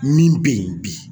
Min be yen bi